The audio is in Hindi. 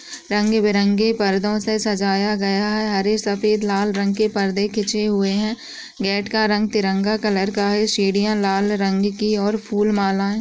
रंग बिरंगे पर्दों से सजाया गया है। हरे सफेद लाल रंग के पर्दे खींचे हुए हैं। गेट का रंग तिरंगा कलर का है। सीढ़ियां लाल रंग की और फूल मालाएं --